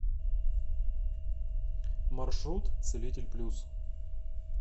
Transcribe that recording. маршрут целитель плюс